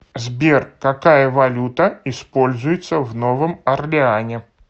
сбер какая валюта используется в новом орлеане